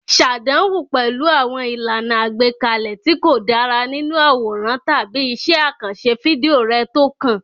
Ṣàdánwò pẹ̀lú àwọn ìlànà àgbékalẹ̀ tí kò dára nínú àwòrán tàbí iṣẹ́ àkànṣe fídíò rẹ tó kàn.